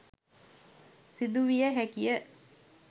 සිදු විය හැකි ය